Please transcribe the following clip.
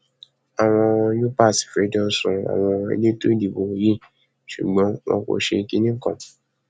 àwọn u epa fẹjọ sun àwọn elétò ìdìbò yìí ṣùgbọn wọn kò ṣe kinní kan